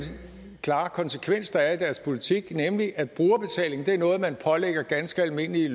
klare konsekvens der er i deres politik nemlig at brugerbetaling er noget man pålægger ganske almindelige